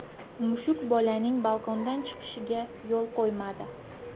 Mushuk bolaning balkondan yiqilishiga yo‘l qo‘ymadi.